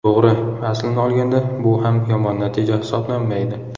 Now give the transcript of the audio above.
To‘g‘ri, aslini olganda bu ham yomon natija hisoblanmaydi.